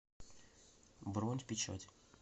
бронь в печать